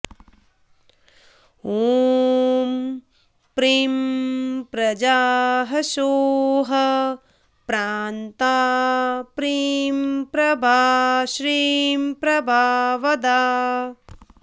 ॐ प्रीं प्रजा ह्सौः प्रान्ता प्रीं प्रभा श्रीं प्रभावदा